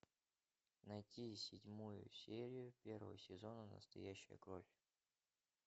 найти седьмую серию первого сезона настоящая кровь